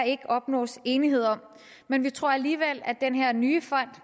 ikke opnås enighed om men vi tror alligevel at den her nye fond